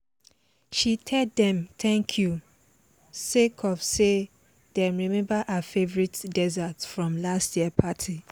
she tell dem thank you sake of say dem remember her favourite dessert from last year party